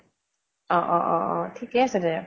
অ অ অ অ ঠিকে আছে দে।